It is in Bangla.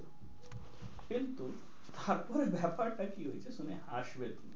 কিন্তু তারপরে ব্যাপার টা কি হয়েছে শুনে হাসবে তুমি,